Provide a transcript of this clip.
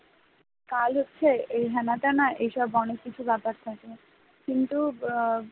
কাল হচ্ছে এই হেনা তেনা এইসব অনেক কিছু ব্যাপার থাকে কিন্তু বা